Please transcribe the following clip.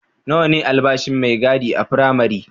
Nawa ne albashin mai gadi a firamare?